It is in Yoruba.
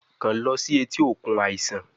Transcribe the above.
Kan lọ si eti okun aisan